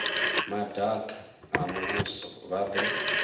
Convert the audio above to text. madaka a muvhuso vha do